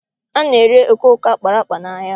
Ana ere okooko akpara akpa n'ahịa